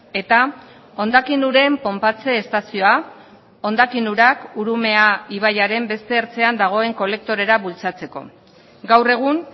eta hondakin uren ponpatze estazioa hondakin urak urumea ibaiaren beste ertzean dagoen kolektorera bultzatzeko gaur egun